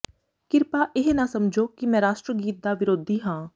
ਕਿਰਪਾ ਇਹ ਨਾ ਸਮਝੋ ਕਿ ਮੈਂ ਰਾਸ਼ਟਰ ਗੀਤ ਦਾ ਵਿਰੋਧੀ ਹਾਂ